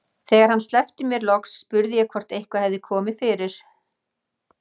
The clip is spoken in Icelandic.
Þegar hann sleppti mér loks spurði ég hvort eitthvað hefði komið fyrir.